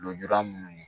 Lujura minnu ye